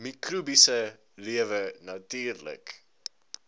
mikrobiese lewe natuurlik